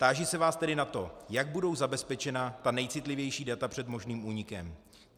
Táži se vás tedy na to, jak budou zabezpečena ta nejcitlivější data před možným únikem.